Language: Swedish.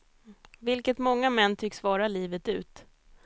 Vilket många män tycks vara livet ut.